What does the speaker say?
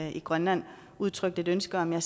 i grønland udtrykt et ønske om at